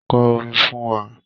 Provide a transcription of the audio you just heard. Kọ orin fún wa.